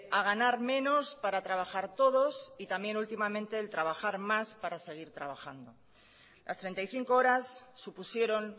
a ganar menos para trabajar todos y también últimamente el trabajar más para seguir trabajando las treinta y cinco horas supusieron